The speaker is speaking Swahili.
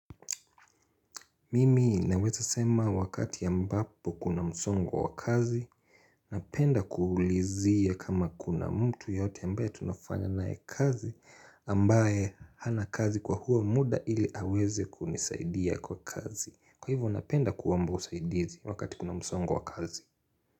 Mimi naweza sema wakati ambapo kuna msongo wa wa kazi, napenda kuulizia kama kuna mtu yoyote ambaye tunafanya naye kazi ambaye hana kazi kwa huo muda ili aweze kunisaidia kwa kazi. Kwa hivyo napenda kuomba usaidizi wakati kuna msongo wa wa kazi.